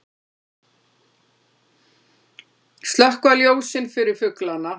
Slökkva ljósin fyrir fuglana